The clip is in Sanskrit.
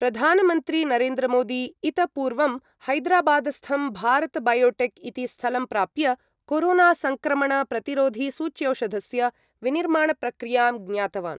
प्रधानमन्त्री नरेन्द्रमोदी इत पूर्वं हैदराबादस्थं भारतबयोटेक् इति स्थलं प्राप्य कोरोनासङ्क्रमणप्रतिरोधिसूच्यौषधस्य विनिर्माणप्रक्रियां ज्ञातवान्।